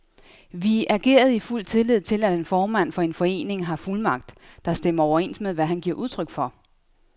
Vi agerede i fuld tillid til, at en formand for en forening har fuldmagt, der stemmer overens med, hvad han giver udtryk for.